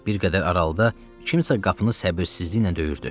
Bir qədər aralıda kimsə qapını səbirsizliklə döyürdü.